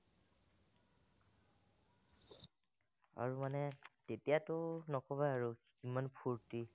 আৰু মানে তেতিয়াতো নকবা আৰু ইমান ফুৰ্টি